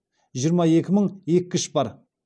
жиырма екі мың еккіш бар